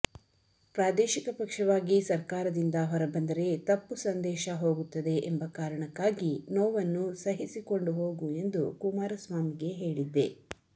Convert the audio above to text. ಪ್ರಾದೇಶಿಕ ಪಕ್ಷವಾಗಿ ಸರ್ಕಾರದಿಂದ ಹೊರಬಂದರೆ ತಪ್ಪು ಸಂದೇಶ ಹೋಗುತ್ತದೆ ಎಂಬ ಕಾರಣಕ್ಕಾಗಿ ನೋವನ್ನು ಸಹಿಸಿಕೊಂಡು ಹೋಗು ಎಂದು ಕುಮಾರಸ್ವಾಮಿಗೆ ಹೇಳಿದ್ದೆ